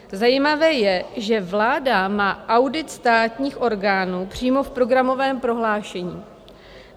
Zajímavé je, že vláda má audit státních orgánů přímo v programovém prohlášení.